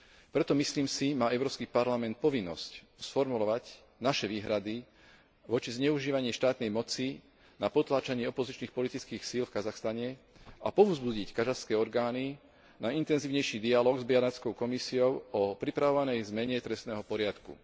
Preto, myslím si, má Európsky parlament povinnosť sformulovať naše výhrady voči zneužívaniu štátnej moci na potláčanie opozičných politických síl v Kazachstane a povzbudiť kazašské orgány na intenzívnejší dialóg s Benátskou komisiou o pripravovanej zmene trestného poriadku.